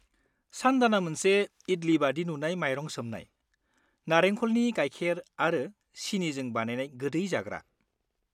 सानदानआ मोनसे इडली बादि नुनाय माइरं सोमनाय, नारेंख'लनि गायखेर आरो सिनिजों बानायनाय गोदै जाग्रा।